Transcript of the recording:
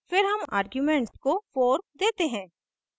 फिर हम argument को 4 देते हैं